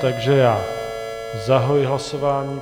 Takže já zahajuji hlasování.